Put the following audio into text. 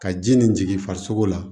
Ka ji nin jigin farisoko la